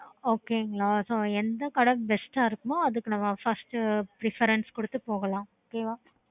okay